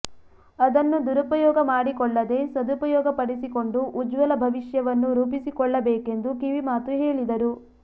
ಅದನ್ನು ದುರುಪಯೋಗ ಮಾಡಿಕೊಳ್ಳದೆ ಸದುಪಯೋಗ ಪಡಿಸಿಕೊಂಡು ಉಜ್ವಲ ಭವಿಷ್ಯವನ್ನು ರೂಪಿಸಿಕೊಳ್ಳಬೇಕೆಂದು ಕಿವಿಮಾತು ಹೇಲಿದರು